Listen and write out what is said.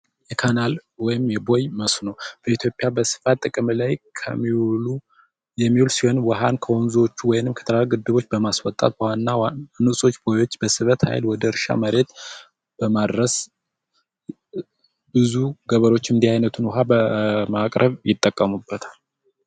የካናል ወይም የቦይ መስኖ በኢትዮጵያ በስፋት ጥቅም ላይ የሚውል ሲሆን፤ ውሃን ከወንዞች ወይንም ከትላልቅ ከግድቦች በማስወጣ በዋና ዋና ቦዮች በስበት ሃይል ወደ እርሻ መሬት በማድረስ ብዙ ገበሬዎች እንዲህ አይነቱን ውሃ በማቅረብ ይጠቀሙበታል።